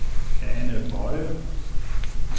Ane Boye